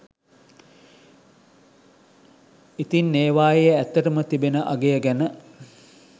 ඉතින් ඒවායේ ඇත්තටම තිබෙන අගය ගැන